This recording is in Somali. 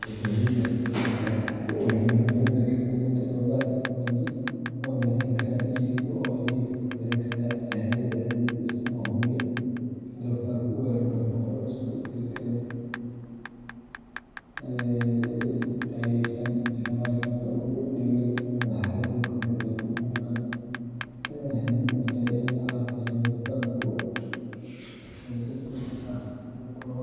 Beeraleydu waxay wax ku oolnimada beddelka quudinta doofarka u wanaajin karaan iyaga oo adeegsada xeelado cilmi ku dhisan oo hubiya in doofarku helo nafaqo isku dheellitiran, tayeysan, isla markaana u dhiganta marxaladda korriin ee uu marayo. Tani waxay muhiim u tahay in la xaqiijiyo in doofarku si degdeg ah u koro,